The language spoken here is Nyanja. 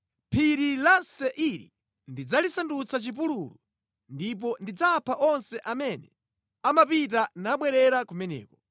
Phiri la Seiri ndidzalisandutsa chipululu ndipo ndidzapha onse amene amapita nabwerera kumeneko.